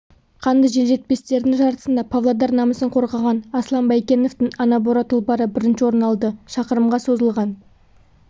қанды желжетпестердің жарысында павлодар намысын қорғаған аслан байкеновтың анабора тұлпары бірінші орын алды шақырымға созылған